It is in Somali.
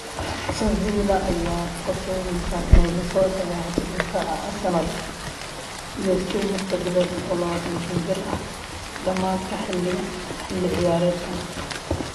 (Star) Sevilla ayaa qorsheyneysa inay lasoo saxiixato daafaca Arsenal iyo Spain Hector Bellerin, oo 25 jir ah, dhamaadka xilli ciyaareedkan.